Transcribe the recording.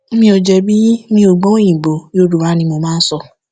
mi ò jẹbi yín mi ò gbọ òyìnbó yorùbá ni mo máa sọ